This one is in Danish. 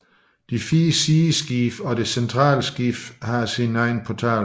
De fire sideskibe og det centrale skib har sin egen portal